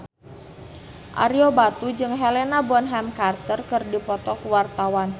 Ario Batu jeung Helena Bonham Carter keur dipoto ku wartawan